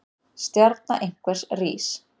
Stjarna einhvers rís